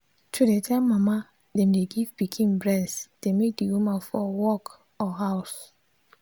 to dey tell mama them dey give pikin breast dey make the women for work or house.